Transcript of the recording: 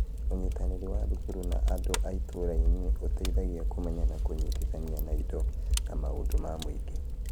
Ũnyitanĩri wa thukuru na andũ a itũũra nĩ ũteithagia kũmenya na kũnyitithania na indo na maũndũ ma mũingĩ.